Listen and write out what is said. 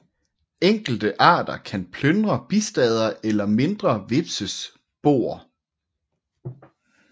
Enkelte arter kan plyndre bistader eller mindre hvepses boer